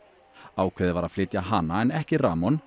ákveðið var að flytja hana en ekki